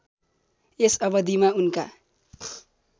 यस अवधिमा उनका